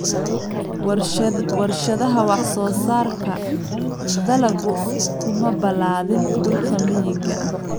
Warshadaha wax-soo-saarka dalaggu kuma balaadhin dhulka miyiga ah.